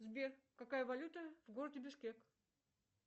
сбер какая валюта в городе бишкек